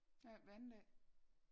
Ja hver anden dag